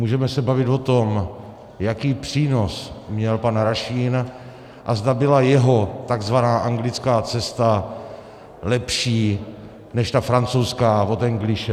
Můžeme se bavit o tom, jaký přínos měl pan Rašín a zda byla jeho tzv. anglická cesta lepší než ta francouzská od Engliše.